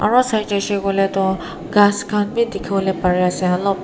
aro sai jaishae koile tu ghas kan b dikivole pari ase olob.